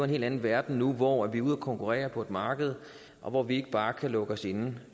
helt anden verden nu hvor vi er ude at konkurrere på et marked og hvor vi ikke bare kan lukke os inde